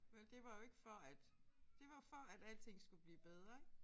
Vel det var jo ikke for at det var jo for at alting skulle blive bedre ik